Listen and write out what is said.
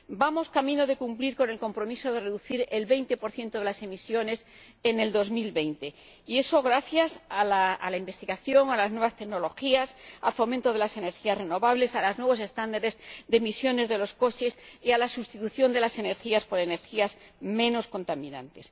Vamos camino de cumplir con el compromiso de reducir en un 20 las emisiones en 2020 y eso gracias a la investigación, a las nuevas tecnologías, al fomento de las energías renovables, a los nuevos estándares de emisiones de los coches y a la sustitución de las energías por energías menos contaminantes.